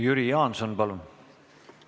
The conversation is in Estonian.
Jüri Jaanson, palun!